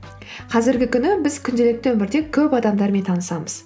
қазіргі күні біз күнделікті өмірде көп адамдармен танысамыз